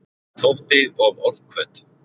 Þótti of orðhvöt.